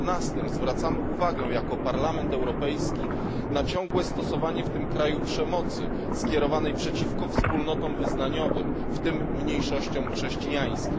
14. zwracamy uwagę jako Parlament Europejski na ciągłe stosowanie w tym kraju przemocy skierowanej przeciwko wspólnotom wyznaniowym, w tym mniejszościom chrześcijańskim.